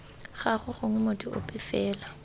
gagwe gongwe motho ope fela